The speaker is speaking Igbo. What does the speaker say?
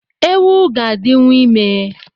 Ewu ga-adịwu ime